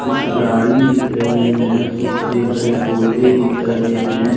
कुछ गाड़ी दिख रहे है कुछ हरे भरे पौधे दिख रहे है।